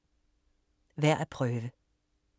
Værd at prøve